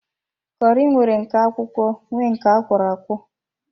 Kọri nwere nke akwụkwọ nwee nke akwọro akwọ